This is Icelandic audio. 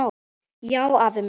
Já, afi minn.